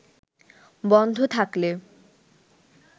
বন্ধ থাকলে